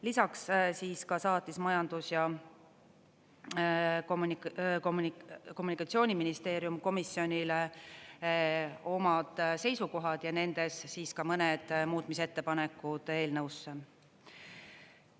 Lisaks saatis Majandus- ja Kommunikatsiooniministeerium komisjonile omad seisukohad ja nendes ka mõned muutmise ettepanekud eelnõusse.